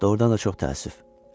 Doğrudan da çox təəssüf.